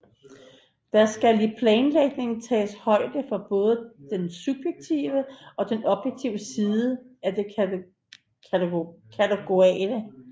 Der skal i planlægningen tages højde for både den subjektive og den objektive side af det kategoriale